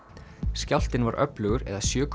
skjálftinn var öflugur eða sjö